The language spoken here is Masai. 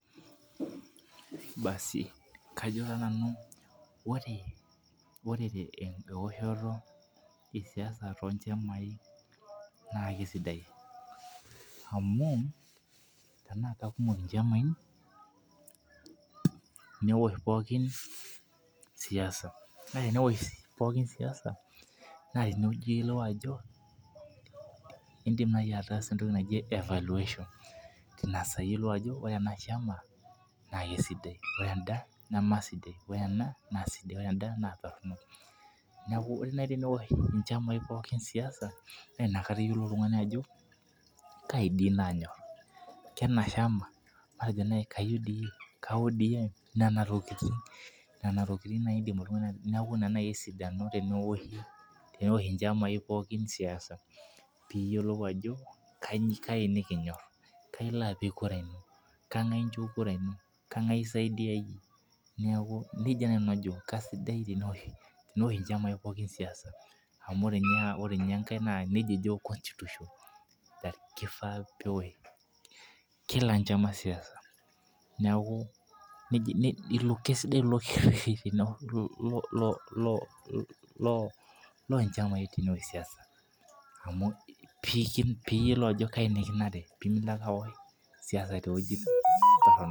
Basi kajo taa nanu ore eoshoto esiasa too nchamai, naa kesidai. amu tenaa katumoki nchamai. neosh pookin siasa. kake teneosh sii pokin siasa. naa tene wueji iyiolou ajo idim naaji ataasa entoki naji evaluation Tina siai iyiolou ajo, ore ena shama naa kisidai ore eda neme sidai. ore ena naa sidai ore eda naa torono. niaku ore naji pee meosh nchamai pookin siasa. naa inakata iyiolou oltungani ajo kaji sii naanyor. kwna shama. matejo naji ke odm. nena tokitin. naidim oltungani. neeku Ina naaji esidano teneosh oltungani pookin siasa. pee iyiolou ajo kaji, nikinyor. kengae incho kura ino. kengae isaidia iyie. kesidai teneosh nchamai pookin siasa. amu ore ninye enkae nejia ejo constitution .kifaa peosh Kila enchama siaisa. neeku, kesidai ilo kereti lo nchamai teneosh siasa. pee iyiolou ajo kaji nikinare.